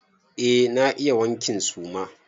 Eh na iya wankin suma.